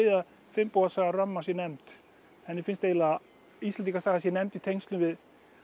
að ramma sé nefnd henni finnst eiginlega að Íslendingasaga sé nefnd í tengslum við